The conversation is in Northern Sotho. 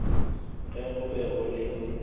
ge go be go le